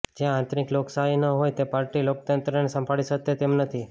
જ્યાં આંતરીક લોકશાહી ન હોય તે પાર્ટી લોકતંત્રને સંભાળી શતે તેમ નથી